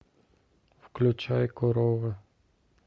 включай корова